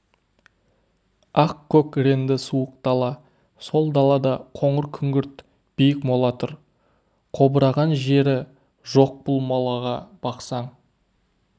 ақ-көк ренді суық дала сол далада қоңыр-күңгірт биік мола тұр қобыраған жері жоқ бұл молаға бақсаң